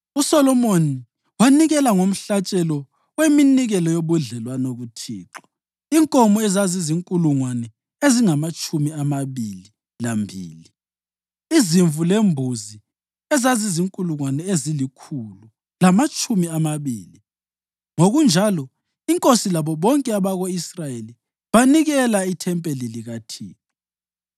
USolomoni wanikela ngomhlatshelo weminikelo yobudlelwano kuThixo; inkomo ezizinkulungwane ezingamatshumi amabili lambili, izimvu lembuzi ezizinkulungwane ezilikhulu lamatshumi amabili. Ngokunjalo inkosi labo bonke abako-Israyeli banikela ithempeli likaThixo.